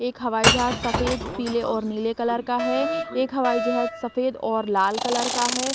एक हवाई जहाज सफेद पीले और नीले कलर का है एक हवाई जहाज सफेद और लाल कलर का है।